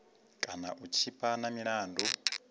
kana u tshipa na milandu